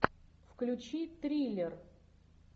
включи триллер